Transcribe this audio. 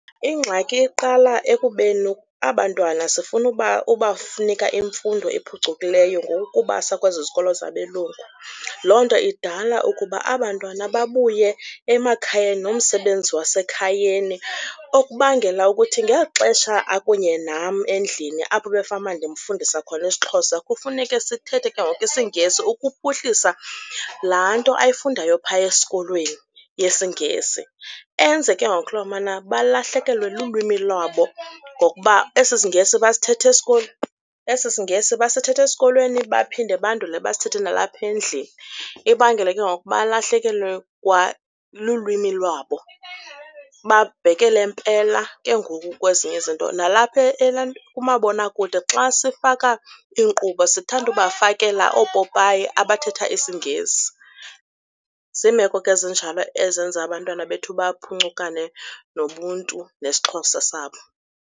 Ingxaki iqala ekubeni abantwana sifuna ubanika imfundo ephucukileyo ngokukubasa kwezi zikolo zabelungu. Loo nto idala ukuba abantwana babuye emakhayeni nomsebenzi wasekhayeni okubangela ukuthi ngeli xesha akunye nam endlini apho bekufanuba ndimfundisa khona isiXhosa kufuneke sithethe ke ngoku isiNgesi ukuphuhlisa laa nto ayifundayo phaya esikolweni ngesiNgesi. Enze ke ngoku lomana balahlekelwe lulwimini lwabo ngokuba esi siNgesi basithetha esikolweni, esi isiNgesi basithetha esikolweni baphinde bandule basithethe nalapha endlini, ibangele ke ngoku balahlekelwe kwa lulwimi lwabo, babhekele mpela ke ngoku kwezinye izinto. Nalapha kumabonakude xa sifaka iinkqubo sithanda ubafakela oopopayi abathetha isiNgesi. Ziimeko ke ezinjalo ezenza abantwana bethu baphuncukane nobuntu nesiXhosa sabo.